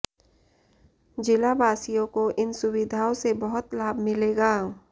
जिलावासियों को इन सुविधाओं से बहुत लाभ मिलेगा